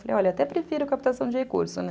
olha, até prefiro captação de recursos, né?